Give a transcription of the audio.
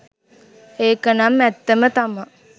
ඒකනම් ඇත්තම තමා